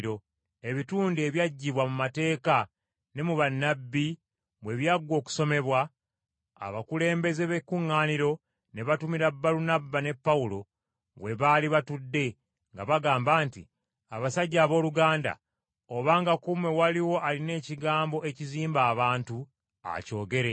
Ebitundu ebyaggyibwa mu Mateeka ne mu Bannabbi bwe byaggwa okusomebwa, abakulembeze b’ekuŋŋaaniro ne batumira Balunabba ne Pawulo we baali batudde nga bagamba nti, “Abasajja abooluganda, obanga ku mmwe waliwo alina ekigambo ekizimba abantu akyogere.”